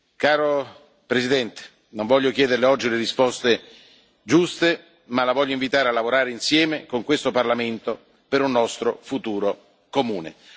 Caro Presidente, non voglio chiederLe oggi le risposte giuste, ma La voglio invitare a lavorare insieme a questo Parlamento per un nostro futuro comune.